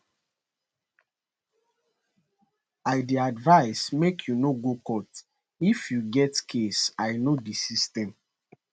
i dey advise make you no go court if you get case i know di system